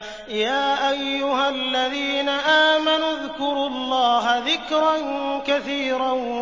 يَا أَيُّهَا الَّذِينَ آمَنُوا اذْكُرُوا اللَّهَ ذِكْرًا كَثِيرًا